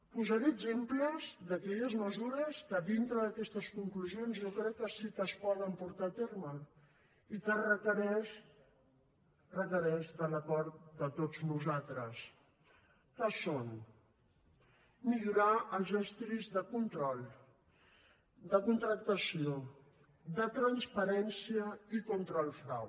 posaré exemples d’aquelles mesures que dintre d’aquestes conclusions jo crec que sí que es poden portar a terme i que requereixen requereixen de l’acord de tots nosaltres que són millorar els estris de control de contractació de transparència i contra el frau